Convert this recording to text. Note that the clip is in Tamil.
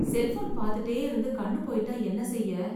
செல்போன் பாத்துட்டே இருந்து கண்ணு போயிட்டா என்ன செய்ய?